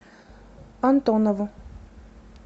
антонову